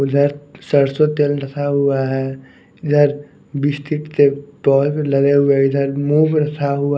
उधर सरसों तेल रखा हुआ है इधर बिस्किट के लगे हुए हैंइधर मूव रखा हुआ --